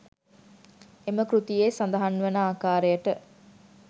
එම කෘතියේ සඳහන් වන ආකාරයට